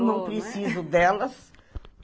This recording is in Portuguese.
Eu não preciso delas.